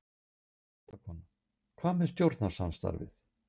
Fréttakona: Hvað með stjórnarsamstarfið?